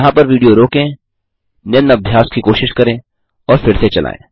यहाँ पर विडियो रोकें निम्न अभ्यास की कोशिश करें और फिर से चलायें